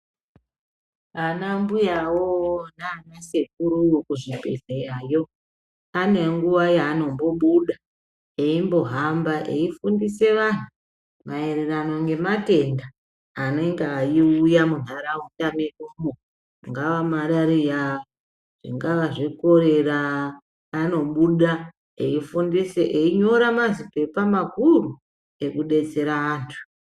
Anambuyawo nana sekuru kuzvibhedhleyayo anenguwa yaanombobuda aimbohamba aifundise vantu maererano ngematenda anenga eiuya muntaraunda medumo. Ingava marariya, ingavazve korera anobuda aifundise, ainyora mazipepa makuru ekudetsera antu.